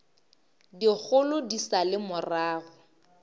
dikgolo di sa le morago